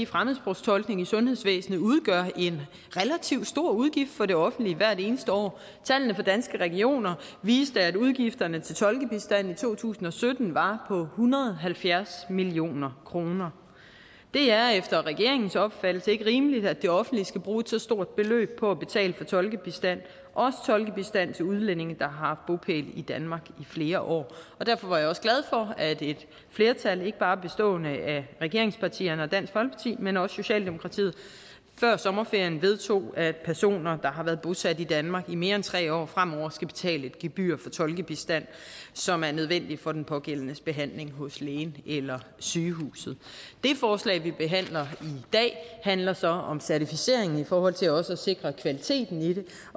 fremmedsprogstolkning i sundhedsvæsenet udgør en relativt stor udgift for det offentlige hvert eneste år tallene for danske regioner viste at udgifterne til tolkebistand i to tusind og sytten var på hundrede og halvfjerds million kroner det er efter regeringens opfattelse ikke rimeligt at det offentlige skal bruge så stort et beløb på at betale for tolkebistand også tolkebistand til udlændinge der har haft bopæl i danmark i flere år derfor er jeg også glad for at et flertal ikke bare bestående af regeringspartierne og dansk folkeparti men også socialdemokratiet før sommerferien vedtog at personer der har været bosat i danmark i mere end tre år fremover skal betale et gebyr for tolkebistand som er nødvendig for den pågældendes behandling hos lægen eller sygehuset det forslag vi behandler i dag handler så om certificering i forhold til også at sikre kvaliteten i det